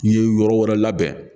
N'i ye yɔrɔ wɛrɛ labɛn